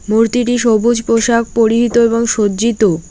মূর্তিটি সবুজ পোশাক পরিহিত এবং সজ্জিত।